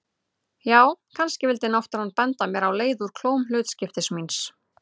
Já, kannski vildi náttúran benda mér á leið úr klóm hlutskiptis míns.